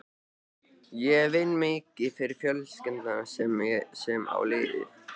Ég vinn mikið fyrir fjölskylduna sem á liðið.